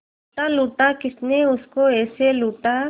लूटा लूटा किसने उसको ऐसे लूटा